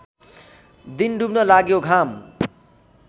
दिन डुब्न लाग्यो घाम